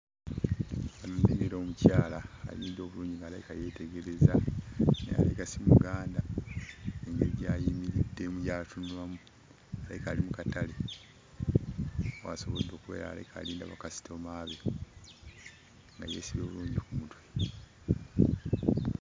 Omukyala ayimiridde obulungi ng'alabika yeetegereza, alabika si Muganda engeri gy'ayimiriddemu, gy'atunulamu. Alabika ali mu katale w'asobodde okubeera, alabika alinda bakasitoma be nga yeesibye bulungi ku mutwe.